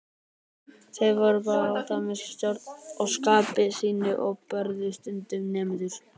Þeir voru báðir alltaf að missa stjórn á skapi sínu og börðu stundum nemendur.